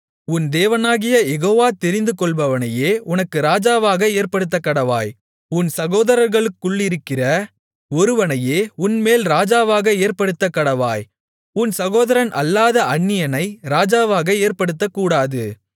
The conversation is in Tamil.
உன் தேவனாகிய யெகோவா தெரிந்து கொள்பவனையே உனக்கு ராஜாவாக ஏற்படுத்தக்கடவாய் உன் சகோதரர்களுக்குள்ளிருக்கிற ஒருவனையே உன்மேல் ராஜாவாக ஏற்படுத்தக்கடவாய் உன் சகோதரன் அல்லாத அந்நியனை ராஜாவாக ஏற்படுத்தக்கூடாது